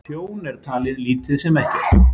Tjón er talið lítið sem ekkert